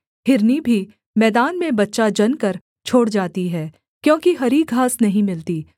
हिरनी भी मैदान में बच्चा जनकर छोड़ जाती है क्योंकि हरी घास नहीं मिलती